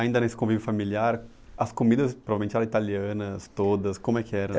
Ainda nesse convívio familiar, as comidas provavelmente eram italianas todas, como é que era?